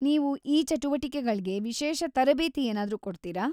ನೀವು ಈ ಚಟುವಟಿಕೆಗಳ್ಗೆ ವಿಶೇಷ ತರಬೇತಿ ಏನಾದ್ರೂ ಕೊಡ್ತೀರ?